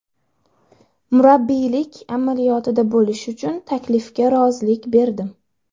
Murabbiylik amaliyotida bo‘lish uchun taklifga rozilik berdim.